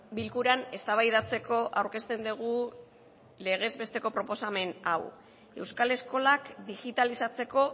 bilkuran eztabaidatzeko aurkezten dugu legez besteko proposamen hau euskal eskolak digitalizatzeko